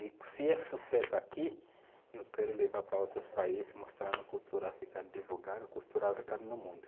E se é sucesso aqui, eu quero levar para outros países, mostrando a cultura africana, divulgando a cultura africana no mundo.